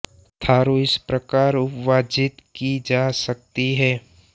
थारू इस प्रकार उपविभाजित की जा सकती है